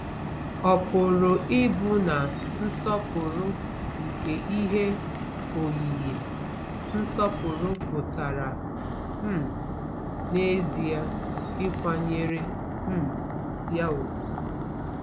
Ọ pụrụ ịbụ na nsọpụrụ nke ihe oyiyi nsọpụrụ pụtara um n'ezie ịkwanyere um ya ùgwù?